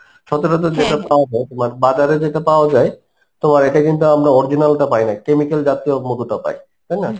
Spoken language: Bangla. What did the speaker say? সচরাচর যেটা পাওয়া যায় তোমার বাজারে যেটা পাওয়া যায় তোমার এটা কিন্তু আমরা original টা পাইনা chemical জাতীয় মধুটা পাই তাইনা?